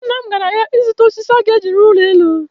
Nna m gara ahịa ịzụta osisi ọ ga-eji rụọ ụlọ elu